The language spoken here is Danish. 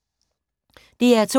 DR2